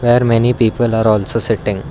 there are many people are also sitting.